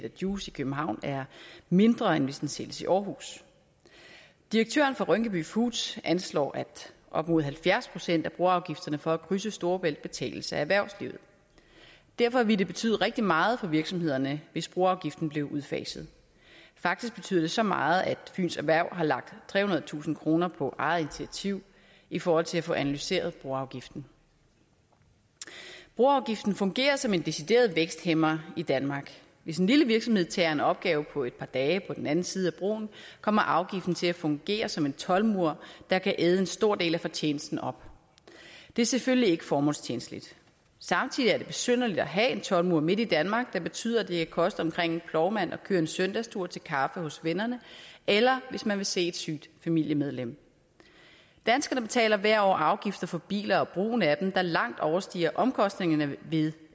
af juice i københavn er mindre end hvis den sælges i aarhus direktøren for rynkeby foods anslår at op mod halvfjerds procent af broafgifterne for at krydse storebælt betales af erhvervslivet derfor vil det betyde rigtig meget for virksomhederne hvis broafgiften blev udfaset faktisk betyder det så meget at fynsk erhverv har lagt trehundredetusind kroner på eget initiativ i forhold til at få analyseret broafgiften broafgiften fungerer som en decideret væksthæmmer i danmark hvis en lille virksomhed tager en opgave på et par dage på den anden side af broen kommer afgiften til at fungere som en toldmur der kan æde en stor del af fortjenesten op det er selvfølgelig ikke formålstjenligt samtidig er det besynderligt at have en toldmur midt i danmark der betyder at det kan koste omkring en plovmand at køre en søndagstur til kaffe hos vennerne eller hvis man vil se et sygt familiemedlem danskerne betaler hvert år afgifter for biler og brugen af dem der langt overstiger omkostningerne ved